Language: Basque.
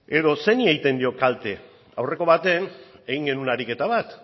edo zeini egiten dio kalte aurreko baten egin genuen ariketa bat